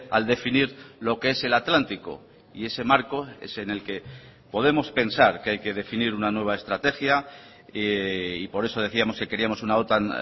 al definir lo que es el atlántico y ese marco es en el que podemos pensar que hay que definir una nueva estrategia y por eso decíamos que queríamos una otan